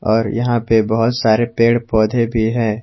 और यहां पे बहोत सारे पेड़ पौधे भी हैं।